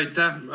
Aitäh!